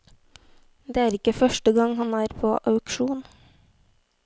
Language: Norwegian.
Det er ikke første gang han er på auksjon.